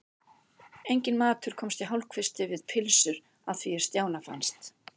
Enginn matur komst í hálfkvisti við pylsur að því er Stjána fannst.